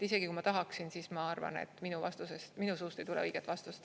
Isegi kui ma tahaksin, siis ma arvan, et minu suust ei tule õiget vastust.